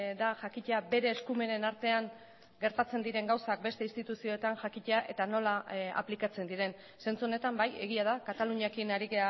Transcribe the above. da jakitea bere eskumenen artean gertatzen diren gauzak beste instituzioetan jakitea eta nola aplikatzen diren zentzu honetan bai egia da kataluniarekin ari